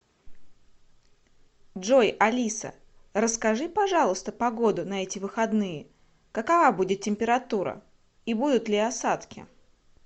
джой алиса расскажи пожалуйста погоду на эти выходные какова будет температура и будут ли осадки